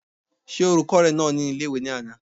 Ṣé olùkọ́ rẹ nà mí ní ilé-ìwé ní àná?